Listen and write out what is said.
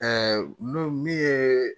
n'o min ye